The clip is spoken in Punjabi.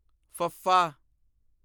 ਫ਼ੱਫ਼ਾ